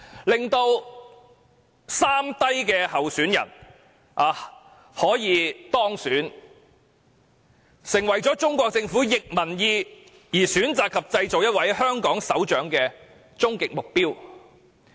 令"三低"候選人當選，成為中國政府逆民意而選擇及製造一位香港首長的終極目標。